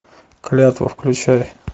клятва включай